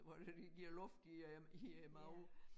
Hvor det giver luft i æ i æ mave